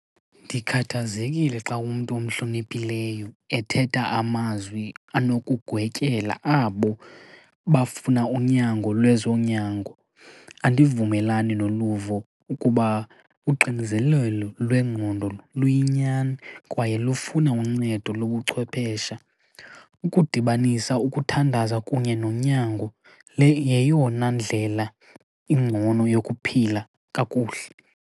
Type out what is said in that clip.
Ndikhathazekile xa umntu omhloniphileyo ethetha amazwi anokugwetyela abo bafuna unyango lwezonyango. Andivumelani noluvo ukuba uxinizelelo lwengqondo luyinyani kwaye lufuna uncedo lobuchwepeshe. Ukudibanisa ukuthandaza kunye nonyango le yeyona ndlela ingcono yokuphila kakuhle.